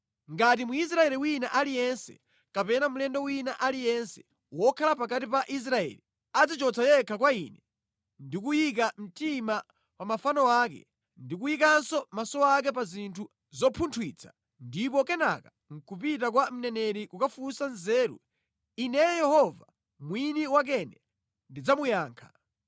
“ ‘Ngati Mwisraeli wina aliyense kapena mlendo wina aliyense wokhala pakati pa Israeli adzichotsa yekha kwa Ine ndi kuyika mtima pa mafano ake ndi kuyikanso maso ake pa zinthu zopunthwitsa ndipo kenaka nʼkupita kwa mneneri kukafunsa nzeru, Ineyo Yehova mwini wakene ndidzamuyankha.